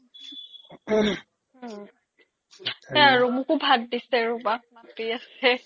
সেইহে আৰু মোকো ভাত দিছে ৰবা